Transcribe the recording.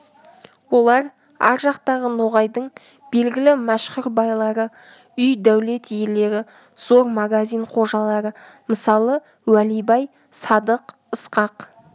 олар ар жақтағы ноғайдың белгілі мәшһүр байлары үй дәулет иелері зор магазин қожалары мысалы уәли бай садық ысқақ